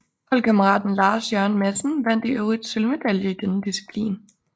Holdkammeraten Lars Jørgen Madsen vandt i øvrigt sølvmedalje i denne disciplin